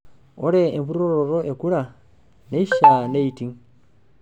Ore empuroroto e kura neishaa neiting.